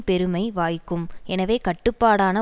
பெருமை வாய்க்கும் எனவே கட்டுப்பாடான